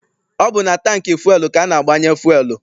Ọ bụ na tankị fụel ka a na-agbanye fụel.